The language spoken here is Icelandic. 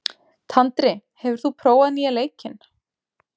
Tandri, hefur þú prófað nýja leikinn?